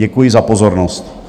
Děkuji za pozornost.